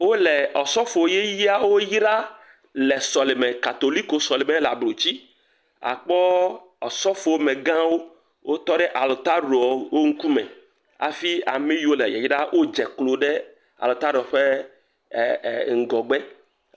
Wo le osɔfo yeyeawo yra le sɔleme. Katoliko sɔle me le ablotsi. Akpɔ osɔfo megãwo wotɔ ɖe ataɖo wo ŋkume hafi ame yiwo wo le yayram wodze klo ɖe ataɖoa ƒe e e ŋgɔgbe.